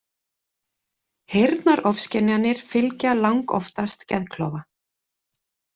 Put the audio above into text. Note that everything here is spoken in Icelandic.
Heyrnarofskynjanir fylgja langoftast geðklofa.